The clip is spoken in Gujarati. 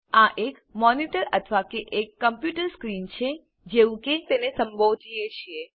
આ એક મોનિટર અથવા કે એક કમ્પ્યુટર સ્ક્રીન છે જેવું કે તેને સંબોધીએ છીએ